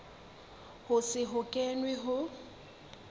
ho se ho kenwe ho